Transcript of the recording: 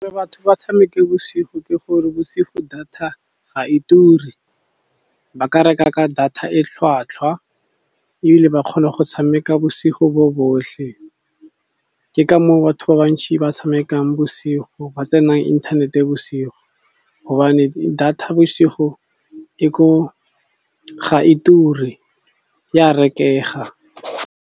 Batho ba tshameke bosigo ke gore bosigo data ga e ture. Ba ka reka ka data e tlhwatlhwa, ebile ba kgona go tshameka bosigo bo botlhe. Ke ka moo batho ba bantšhi ba tshamekang bosigo ba tsenang inthanete bosigo, gobane data bosigo e ko ga e ture ya rekega.